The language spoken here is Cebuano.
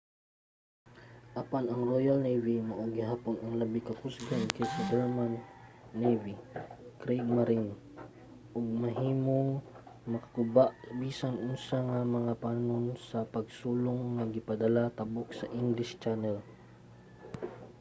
apan ang royal navy mao gihapon ang labi ka kusgan kaysa sa german navy kriegmarine ug mahimong makaguba sa bisan unsa nga mga panon sa pagsulong nga gipadala tabok sa english channel